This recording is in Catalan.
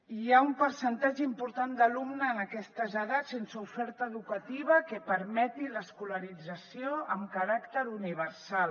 i hi ha un percentatge important d’alumnes en aquestes edats sense oferta educativa que permeti l’escolarització amb caràcter universal